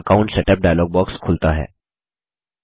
मैल account setup dialog box खुलता है